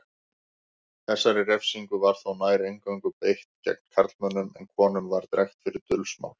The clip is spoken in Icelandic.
Þessari refsingu var þó nær eingöngu beitt gegn karlmönnum en konum var drekkt fyrir dulsmál.